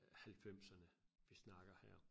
Øh halvfemserne vi snakker her